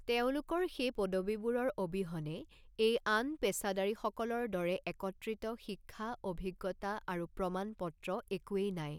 তেওঁলোকৰ সেই পদবীবোৰৰ অবিহনে, এই আন পেছাদাৰীসকলৰ দৰে একত্ৰিত শিক্ষা, অভিজ্ঞতা আৰু প্ৰমাণপত্ৰ একোৱেই নাই।